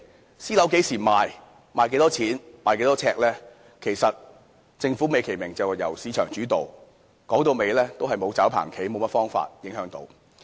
對於私樓何時賣、賣多少錢、呎價是多少等，政府美其名是由市場主導，其實說到底是沒有甚麼方法可影響。